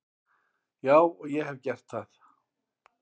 Já og ég hef gert það.